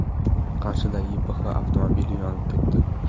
Qarshida YPX avtomobili yonib ketdi.